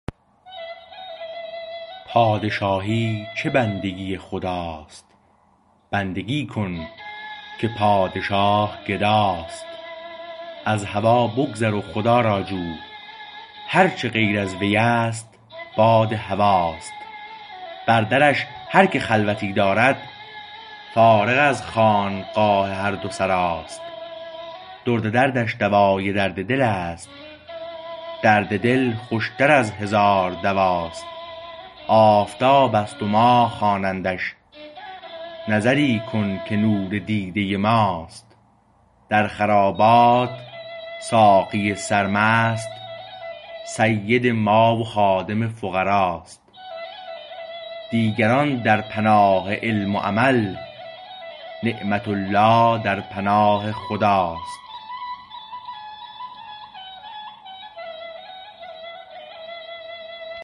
پادشاهی چه بندگی خداست بندگی کن که پادشاه گداست از هوا بگذر و خدا را جو هرچه غیر ازویست باد هواست بر درش هر که خلوتی دارد فارغ از خانقاه هر دو سراست درد دردش دوای درد دلست درد دل خوشتر از هزار دواست آفتابست و ماه خوانندش نظری کن که نور دیده ماست در خرابات ساقی سر مست سید ما و خادم فقراست دیگران در پناه علم و عمل نعمت الله در پناه خداست